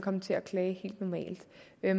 er